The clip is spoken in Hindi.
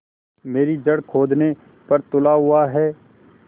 मेरी जड़ खोदने पर तुला हुआ है